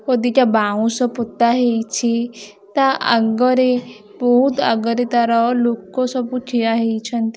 ଅଦିକା ବାଉଁଶ ପୁତା ହେଇଛି ତା ଆଗରେ ବହୁତ୍ ଆଗରେ ତାର ଲୁକ ସବୁ ଠିଆ ହେଇଛନ୍ତ--